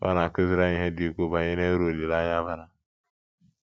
Pọl na - akụziri anyị ihe dị ukwuu banyere uru olileanya bara.